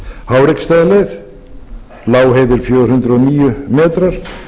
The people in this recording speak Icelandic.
háreksstaðaleið lágheiði er fjögur hundruð og níu metrar